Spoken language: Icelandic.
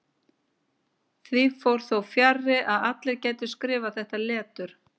Því fór þó fjarri að allir gætu skrifað þetta letur.